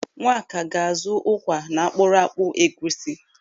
Nwaka ga-azụ ụkwa na akpụrụakpu egwusi.